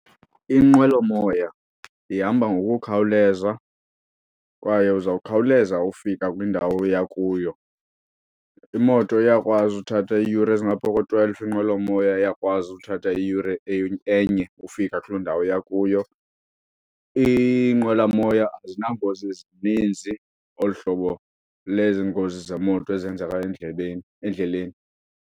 Inqwelomoya ihamba ngokukhawuleza kwaye uzawukhawuleza ufika kwindawo oya kuyo. Imoto iyakwazi uthatha iiyure ezingaphaa ko-twelve, inqwelomoya iyakwazi uthatha iyure enye ufika kuloo ndawo uya kuyo. Iinqwelamoya azinangozi zininzi olu hlobo lezi ngozi zemoto ezenzeka endlebeni endleleni.